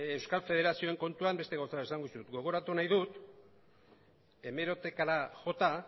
euskal federazioen kontuan beste gauza bat esango dizut gogoratu nahi dut hemerotekara jota